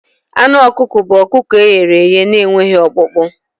Anụ ọkụkọ bụ ọkụkọ e ghere eghe na-enweghị ọkpụkpụ.